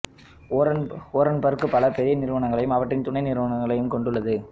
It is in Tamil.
ஓரன்பர்க் பல பெரிய நிறுவனங்களையும் அவற்றின் துணை நிறுவனங்களையும் கொண்டுள்ளது